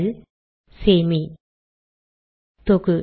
ல் சேமி தொகு